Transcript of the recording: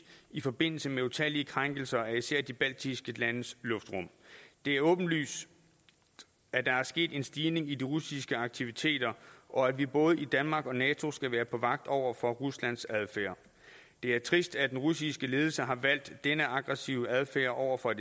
i forbindelse med utallige krænkelser af især de baltiske landes luftrum det er åbenlyst at der er sket en stigning i de russiske aktiviteter og at vi både i danmark og nato skal være på vagt over for ruslands adfærd det er trist at den russiske ledelse har valgt denne aggressive adfærd over for